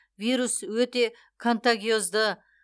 вирус өте контагиозды